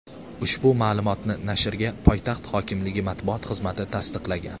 Ushbu ma’lumotni nashrga poytaxt hokimligi matbuot xizmati tasdiqlagan.